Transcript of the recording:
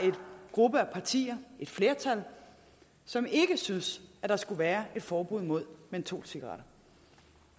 gruppe af partier et flertal som ikke syntes der skulle være et forbud mod mentolcigaretter